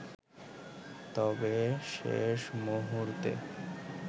তবে শেষ মুহুর্তে